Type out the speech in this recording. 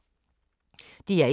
DR1